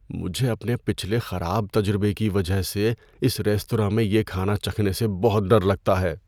مجھے اپنے پچھلے خراب تجربے کی وجہ سے اس ریستوراں میں یہ کھانا چکھنے سے بہت ڈر لگتا ہے۔